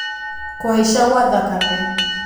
Kũhaica gwa thakame